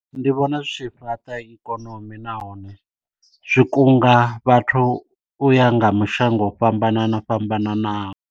Ndi vhona zwi tshi fhaṱa ikonomi na hone zwi kunga vhathu uya nga mashango o fhambanaho fhambananaho.